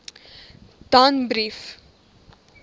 danbrief